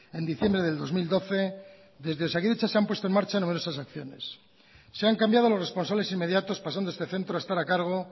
en diciembre del dos mil doce desde osakidetza se han puesto en marcha numerosas acciones se han cambiado los responsables inmediatos pasando este centro a estar a cargo